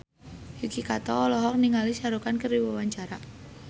Yuki Kato olohok ningali Shah Rukh Khan keur diwawancara